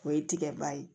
O ye tigɛ ba ye